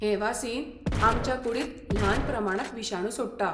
हें वासीन आमच्या कुडींत ल्हान प्रमाणांत विशाणू सोडटा.